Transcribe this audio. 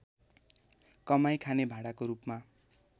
कमाई खाने भाँडाको रूपमा